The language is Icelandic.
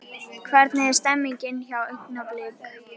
Hvernig er stemningin hjá Augnablik?